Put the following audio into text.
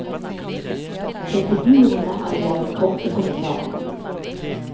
Til figurene er det laget korte kommentarer.